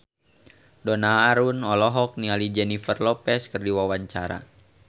Donna Harun olohok ningali Jennifer Lopez keur diwawancara